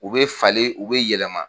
U bɛ falen u bɛ yɛlɛma.